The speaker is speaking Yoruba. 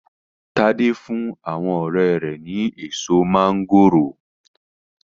Tade fún àwọn ọrẹ́ rẹ̀ ni èso máńgòrò.